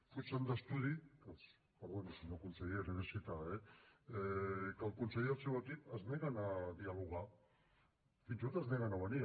fugen d’estudi perdó senyor conseller l’he de citar eh quan el conseller i el seu equip es neguen a dialogar fins i tot es neguen a venir